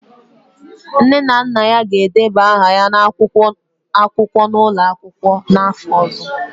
Nne na nna ya ga-edeba aha ya n'akwụkwọ n'ụlọ akwụkwọ, n'afọ ọzọ